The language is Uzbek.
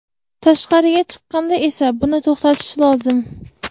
tashqariga chiqqanda esa buni to‘xtatish lozim.